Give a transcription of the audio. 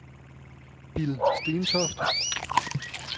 Bill Stentoft